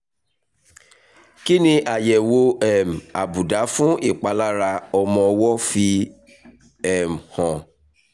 kí ni àyẹ̀wò um àbùdá fún ìpalára ọmọ ọwọ́ fi hàn?